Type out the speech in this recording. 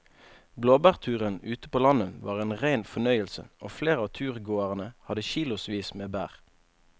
Blåbærturen ute på landet var en rein fornøyelse og flere av turgåerene hadde kilosvis med bær.